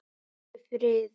Aldrei friður.